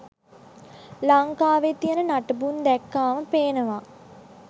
ලංකාවෙ තියෙන නටබුන් දැක්කාම පේනවා.